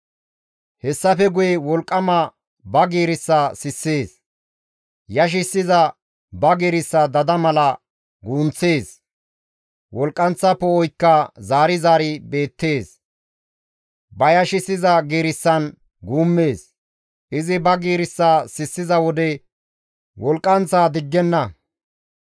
Hessafe guye wolqqama ba giirissa sissees; yashissiza ba giirissa dada mala guunththees; Wolqqanththa poo7oykka zaari zaari beettees; ba yashissiza giirissan guummees; Izi ba giirissa sissiza wode wolqqanththa diggenna.